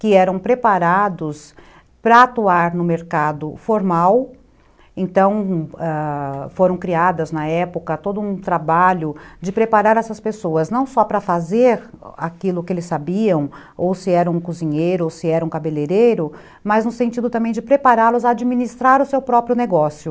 que eram preparados para atuar no mercado formal, então ãh... foram criadas na época todo um trabalho de preparar essas pessoas, não só para fazer aquilo que eles sabiam, ou se era um cozinheiro, ou se era um cabeleireiro, mas no sentido também de prepará-los a administrar o seu próprio negócio.